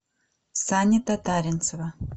сани татаринцева